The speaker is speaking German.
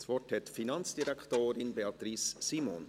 Das Wort hat die Finanzdirektorin, Beatrice Simon.